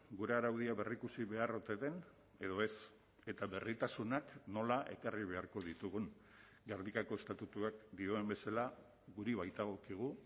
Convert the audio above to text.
gure araudia berrikusi behar ote den edo ez eta berritasunak nola ekarri beharko ditugun gernikako estatutuak dioen bezala guri baitagokigu